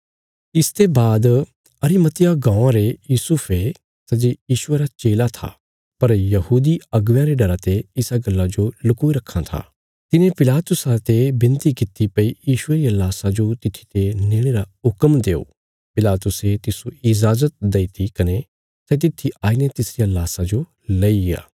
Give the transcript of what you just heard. इसते बाद अरिमतियाह गाँवां रे यूसुफे सै जे यीशुये रा चेला था पर यहूदी अगुवेयां रे डरा ते इसा गल्ला जो लुकोई रक्खां था तिने पिलातुसा ते विनती किति भई यीशुये रिया लाशा जो तित्थी ते नेणे रा हुक्म देओ पिलातुसे तिस्सो इजाजत दईती कने सै तित्थी आईने तिसरिया लाशा जो लईग्या